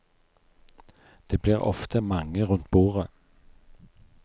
Det blir ofte mange rundt bordet.